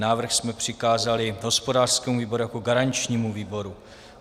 Návrh jsme přikázali hospodářskému výboru jako garančnímu výboru.